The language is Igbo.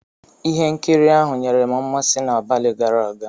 Ihe nkiri ahụ nyere m mmasị n'abalị gara aga.